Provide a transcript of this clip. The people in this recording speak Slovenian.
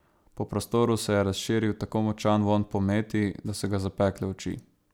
Po prostoru se je razširil tako močan vonj po meti, da so ga zapekle oči.